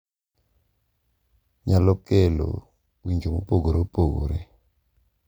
Nyalo kelo winjo mopogore opogore,